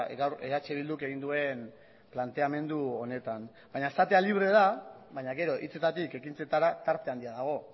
gaur eh bilduk egin duen planteamendu honetan baina esatea libre da baina gero hitzetatik ekintzetara tarte handia dago